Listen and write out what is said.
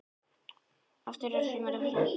Útför Þóru hefur farið fram.